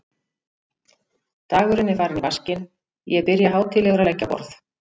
Dagurinn er farinn í vaskinn, ég byrja hátíðlegur að leggja á borð.